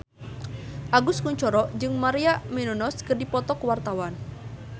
Agus Kuncoro jeung Maria Menounos keur dipoto ku wartawan